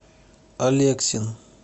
алексин